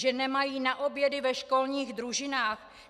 Že nemají na obědy ve školních družinách?